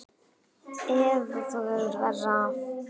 Eða þú hefur verra af